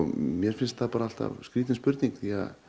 mér finnst það alltaf skrítin spurning því að